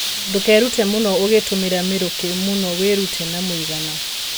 Ndũkerute mũno ũgitũmĩra mĩrukĩ mũno, wĩrute na mũigana.